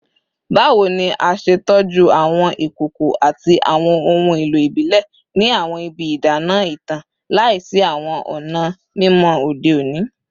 Bawo ni a ṣe tọju awọn ikoko ati awọn ohun elo ibile ni awọn ibi idana itan laisi awọn ọna mimọ ode oni?